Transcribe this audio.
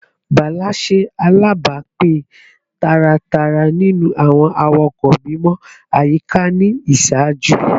Bala ṣe alabapin taratara ninu awọn awakọ mimọ ayika ni iṣaaju